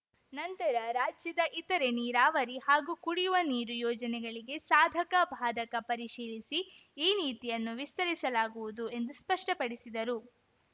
ನಂತರ ರಾಜ್ಯದ ಇತರೆ ನೀರಾವರಿ ಹಾಗೂ ಕುಡಿಯುವ ನೀರು ಯೋಜನೆಗಳಿಗೆ ಸಾಧಕ ಬಾಧಕ ಪರಿಶೀಲಿಸಿ ಈ ನೀತಿಯನ್ನು ವಿಸ್ತರಿಸಲಾಗವುದು ಎಂದು ಸ್ಪಷ್ಟಪಡಿಸಿದರು